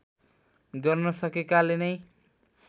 गर्न सकेकाले नै